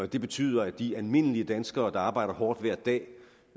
det betyder at de almindelige danskere der arbejder hårdt hver dag